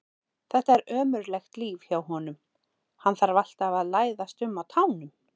Þetta er ömurlegt líf hjá honum, hann þarf alltaf að læðast um á tánum.